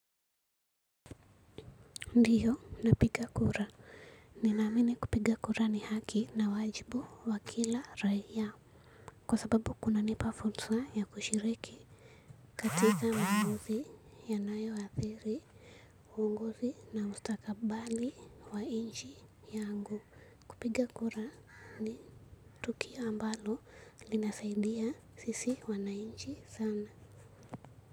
Ndiyo napiga kura ninaamini kupiga kura ni haki na wajibu wa kila raia kwa sababu kuna nipa fursa ya kushiriki katika maamuzi ya nayo athiri uongozi na mustaka bali wa nchi yangu kupiga kura ni tukio ambalo linasaidia sisi wananchi sana.